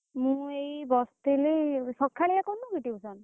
ମୁଁ ଏଇ ବସିଥିଲି ସଖାଳିଆ କରୁନୁ କି tuition ?